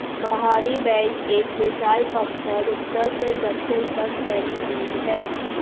बाहरी बेल्ट एक विशाल पत्थर उत्तर से दक्षिण तक फैली रिज है